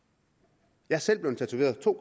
jeg er selv blevet tatoveret to